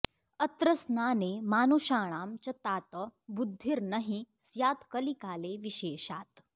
अत्र स्नाने मानुषाणां च तात बुद्धिर्न हि स्यात्कलिकाले विशेषात्